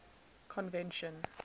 convention